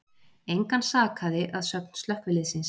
Engan sakaði að sögn slökkviliðsins